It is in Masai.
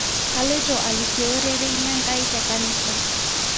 Kaloito alikoo rerei lenkai tenkanisa